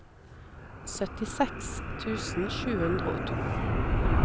syttiseks tusen sju hundre og to